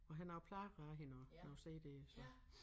Og har nogle plader af hende også nogle cd'er så